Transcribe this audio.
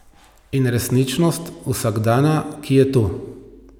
In resničnost vsakdana, ki je tu.